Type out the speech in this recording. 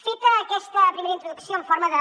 feta aquesta primera introducció en forma de